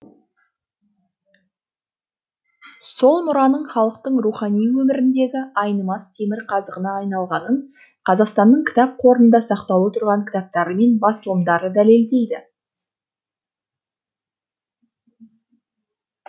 сол мұраның халықтың рухани өміріндегі айнымас темірқазығына айналғанын қазақстанның кітап қорында сақтаулы тұрған кітаптары мен басылымдары дәлелдейді